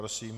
Prosím.